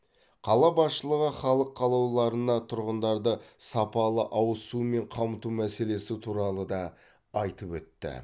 қала басшылығы халық қалаулыларына тұрғындарды сапалы ауызсумен қамту мәселелесі туралы да айтып өтті